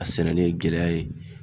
A sɛnɛnen gɛlɛya ye